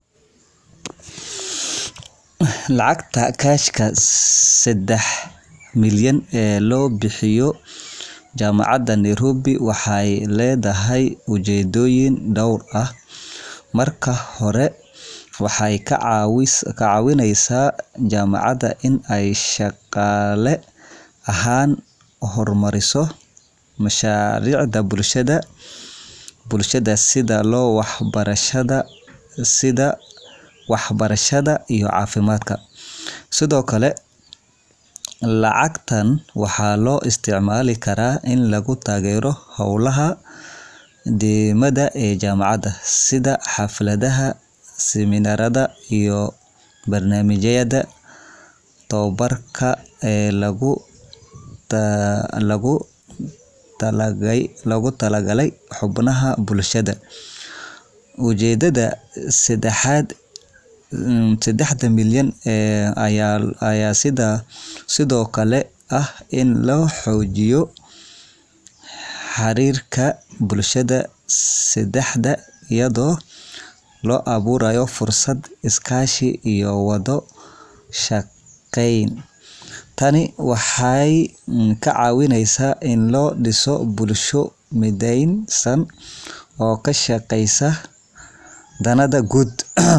Lacagta kashka ee sedex milyan ee loo bixiyo jamacad Nairobi waxeey ledahay ujeedoyin door ah, marka hore waxeey kacawineysa jamacada in aay shaqaale ahaan uhor mariso mashariicda bulshada sida wax barashada, iyo cafimaadka, sido kale lacagtan waxaa loo isticmaali karaa in lagu tagero howlaha deemada ee jamacada sida xafladaha iyo barnamijada tababarka ee loogu tala galay xubnaha bulshada, ujeedada sedexda milyan ayaa sido kale ah in la xoojiyo xariirka bulshada Dex ayado loo abuurayo fursad is kaashi iyo wada shaqeen, tani waxeey kacawineysa in ladiso bulsho mideensan oo kashaqeesa danaha guud.